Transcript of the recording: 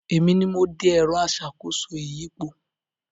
Èmi ni mo de “ẹ̀rọ aṣàkóso ìyípo”